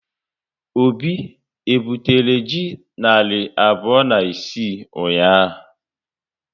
Obi e butere ji narị abụọ na isii ụnyaahụ?